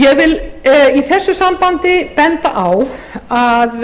ég vil í þessu sambandi benda á að